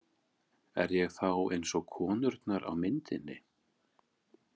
Er ég þá eins og konurnar á myndinni?